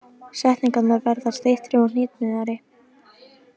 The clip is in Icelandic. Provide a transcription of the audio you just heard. Setningarnar verða styttri og hnitmiðaðri.